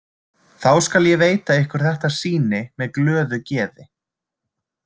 Þá skal ég veita ykkur þetta sýni með glöðu geði.